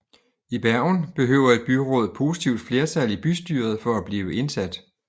I Bergen behøver et byråd positivt flertal i bystyret for at blive indsat